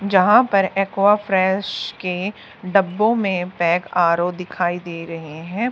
जहां पर एक्वाफ्रेश के डब्बों में पैक आर_ओ दिखाई दे रहे हैं।